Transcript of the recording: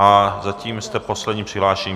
A zatím jste poslední přihlášený.